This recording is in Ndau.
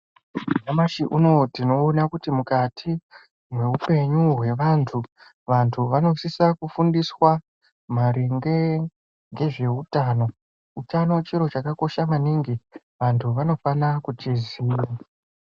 Nyamashi unowu tinoona kuti mukati meupenyu hwe vandu ,vandu vanosisa kufundiswa maringe ngezveutano utano chiro chakakosha maningi vandu vanofana kuchiziva